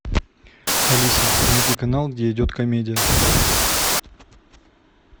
алиса найди канал где идет комедия